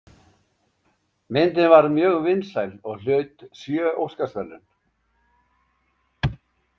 Myndin varð mjög vinsæl og hlaut sjö Óskarsverðlaun.